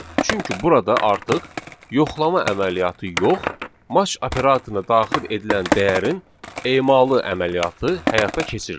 Çünki burada artıq yoxlama əməliyyatı yox, match operatoruna daxil edilən dəyərin emalı əməliyyatı həyata keçirilir.